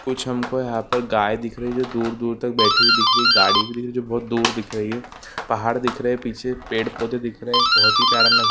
कुछ हमको यहाँ पर गाय दिख रही है जो दूर-दूर तक बैठी हुई दिख रही है गाड़ी भी दिख रही है जो बहौत दूर दिख रही है पहाड़ दिख रहे हैं पीछे पेड़-पौधे दिख रहे हैं बहौत ही प्यारा नज --